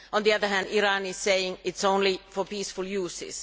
On the other hand, Iran is saying that it is only for peaceful use.